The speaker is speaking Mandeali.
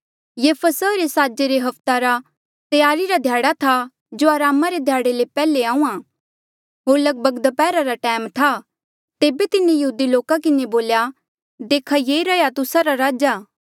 ये फसहा रे साजा रे हफ्ते रा त्यारी रा ध्याड़ा था जो अरामा रे ध्याड़े ले पैहले आहूँआं होर लगभग दप्हैरा रा टैम था तेबे तिन्हें यहूदी लोका किन्हें बोल्या देखा ये रह्या आ तुस्सा रा राजा